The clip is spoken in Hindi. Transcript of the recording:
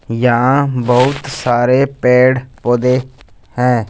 यहां बहुत सारे पेड़ पौधे हैं।